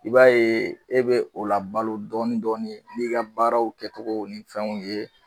I b'a ye e be o la balo dɔni dɔni n'i ka baaraw kɛtogo ni fɛnw ye